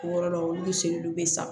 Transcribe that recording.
O yɔrɔ la olu bɛ seli olu bɛ san